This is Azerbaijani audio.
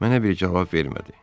Mənə bir cavab vermədi.